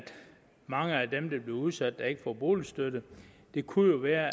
mange af dem der bliver udsat ikke får boligstøtte det kunne jo være